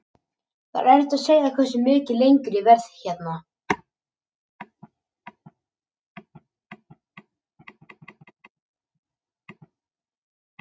Það er erfitt að segja hversu mikið lengur ég verð hérna.